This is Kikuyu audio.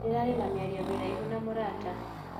Ndĩrarĩ na mĩario mĩraihu na mũrata.